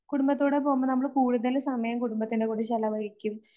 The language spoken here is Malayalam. കുടുംബത്തോടെ പോകുമ്പോ നമ്മള് കൂടുതല് സമയം കുടുംബത്തിൻറെ കൂടെ ചെലവഴിക്കും